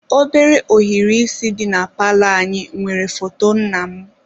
Obere ohiri isi di na palọ anyị nwere foto nna m.